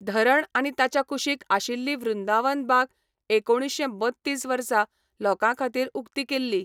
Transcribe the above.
धरण आनी ताच्या कुशीक आशिल्ली वृंदावन बाग एकुणीशें बत्तीस वर्सा लोकांखातीर उक्ती केल्ली.